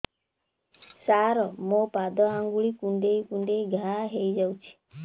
ସାର ମୋ ପାଦ ଆଙ୍ଗୁଳି କୁଣ୍ଡେଇ କୁଣ୍ଡେଇ ଘା ହେଇଯାଇଛି